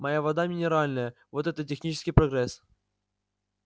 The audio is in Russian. моя вода минеральная вот это технический прогресс